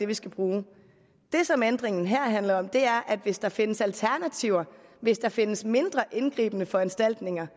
vi skal bruge det som ændringen her handler om er at hvis der findes alternativer hvis der findes mindre indgribende foranstaltninger